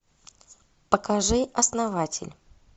покажи основатель